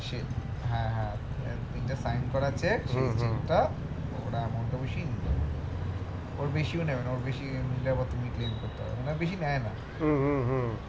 হ্যাঁ হ্যাঁ তিনটে sign করা cheque ওর বেশিও নেবে না ওর বেশি নিলে আবার তুমি claim করতে পারো ওরা বেশি নেয় না